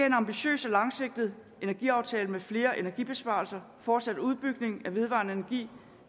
en ambitiøs og langsigtet energiaftale med flere energibesparelser fortsat udbygning af vedvarende energi